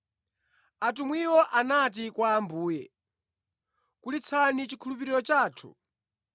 Atumwiwo anati kwa Ambuye, “Kulitsani chikhulupiriro chathu!”